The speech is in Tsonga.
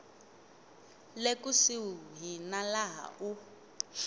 le kusuhi na laha u